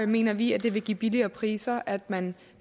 mener vi at det vil give billigere priser at man